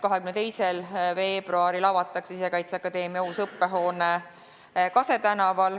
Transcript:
22. veebruaril avatakse Sisekaitseakadeemia uus õppehoone Kase tänaval.